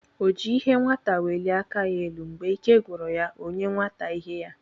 O ji ihe nwata welie aka ya elu, Mgbe ike gwụrụ ya, ọ nye nwata ihe ya